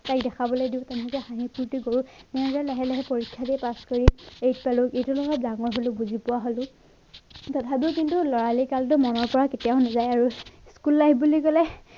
তাইক দেখাবলে দিওঁ তেনেকে হাঁহি ফুৰ্তি কৰো এনেকে লাহে লাহে পৰীক্ষা দিয়ে পাছ কৰি eight পালো। eight অলপ ডাঙৰ হলো বুজি পোৱা হলো তথাপি কিন্তু লৰালি কালটো মনত পৰা কেতিয়াও নাযায় আৰু school life বুলি কলে।